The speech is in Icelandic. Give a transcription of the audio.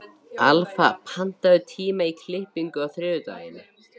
Alfa, pantaðu tíma í klippingu á þriðjudaginn.